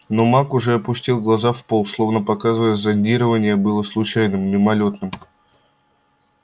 но маг уже опустил глаза в пол словно показывая зондирование было случайным мимолётным